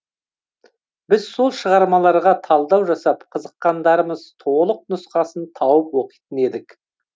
біз сол шығармаларға талдау жасап қызыққандарымыз толық нұсқасын тауып оқитын едік